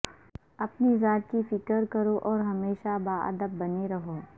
اپنی ذات کی فکر کرو اور ہمیشہ باادب بنے رہو